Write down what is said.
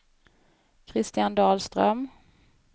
Christian Dahlström